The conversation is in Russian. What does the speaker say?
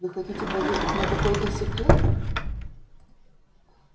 вы хотите поведать мне какой-то секрет